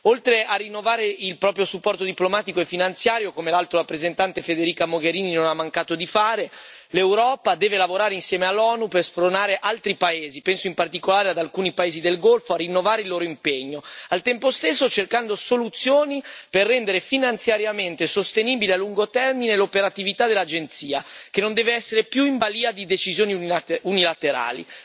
Oltre a rinnovare il proprio supporto diplomatico e finanziario, come l'Alto rappresentante Federica Mogherini non ha mancato di fare, l'Europa deve lavorare insieme all'ONU per spronare altri paesi penso in particolare ad alcuni paesi del Golfo a rinnovare il loro impegno, al tempo stesso cercando soluzioni per rendere finanziariamente sostenibile a lungo termine l'operatività dell'agenzia, che non deve essere più in balia di decisioni unilaterali.